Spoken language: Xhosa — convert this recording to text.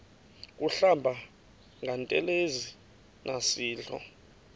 kuhlamba ngantelezi nasidlo